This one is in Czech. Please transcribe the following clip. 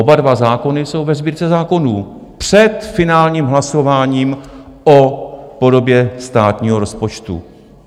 Oba dva zákony jsou ve Sbírce zákonů před finálním hlasováním o podobě státního rozpočtu.